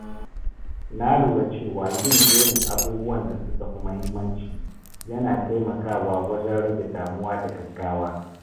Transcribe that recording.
Na lura cewa yin jerin abubuwan da suka fi muhimmanci yana taimaka wa wajen rage damuwa da gaggawa.